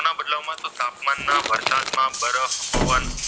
પવન.